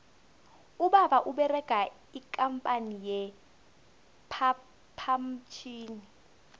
ubaba uberega ikampani ye phaphamtjhini